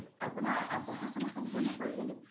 আপোনাৰ পঢ়া শুনা সম্পুৰ্ন কৰিলে নে ?